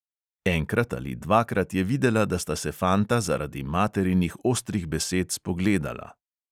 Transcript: Enkrat ali dvakrat je videla, da sta se fanta zaradi materinih ostrih besed spogledala.